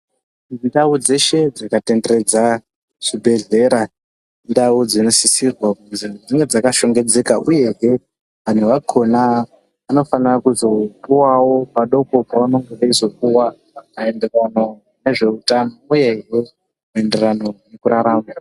Ndau dzeshe dzaka tenderedza zvi bhedhlera indau dzino sisirwa kuti dzinge dzaka shongedzeka uyehe anhu akona anofana kuzo puwawo padoko pavanenge veizo puwa maenderano nezve utano uyehe maenderano ngeku rarama.